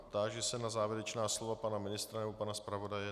Táži se na závěrečná slova pana ministra nebo pana zpravodaje.